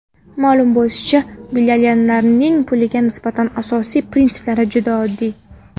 Ma’lum bo‘lishicha, millionerlarning pulga nisbatan asosiy prinsiplari juda oddiy.